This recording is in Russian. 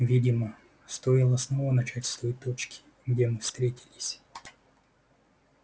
видимо стоило снова начать с той точки где мы встретились